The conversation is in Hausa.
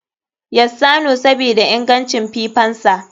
Yassanu sabida ingancin fifansa.